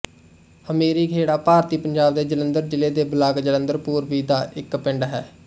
ਹਮੀਰੀ ਖੇੜਾ ਭਾਰਤੀ ਪੰਜਾਬ ਦੇ ਜਲੰਧਰ ਜ਼ਿਲ੍ਹੇ ਦੇ ਬਲਾਕ ਜਲੰਧਰ ਪੂਰਬੀ ਦਾ ਇੱਕ ਪਿੰਡ ਹੈ